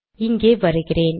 இங்கே வருகிறேன்